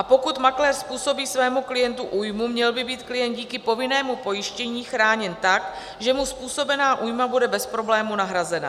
A pokud makléř způsobí svému klientu újmu, měl by být klient díky povinnému pojištění chráněn tak, že mu způsobená újma bude bez problému nahrazena.